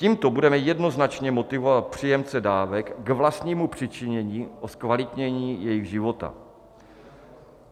Tímto budeme jednoznačně motivovat příjemce dávek k vlastnímu přičinění o zkvalitnění jejich života.